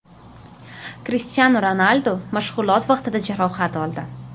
Krishtianu Ronaldu mashg‘ulot vaqtida jarohat oldi.